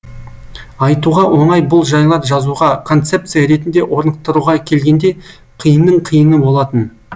айтуға оңай бұл жайлар жазуға концепция ретінде орнықтыруға келгенде қиынның қиыны болатын